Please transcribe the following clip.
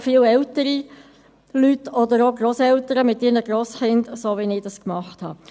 Auch viele ältere Leute waren dabei sowie Grosseltern mit ihren Enkelkindern, wie ich es getan habe.